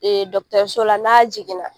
Ee so la n'a jiginna.